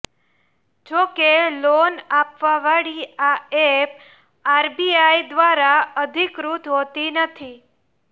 જોકે લોન આપવાવાળી આ એપ આરબીઆઈ દ્વારા અધિકૃત હોતી નથી